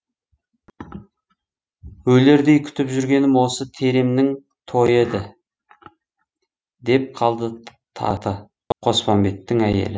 өлердей күтіп жүргенім осы теремнің тойы еді деп қалды таты қоспанбеттің әйелі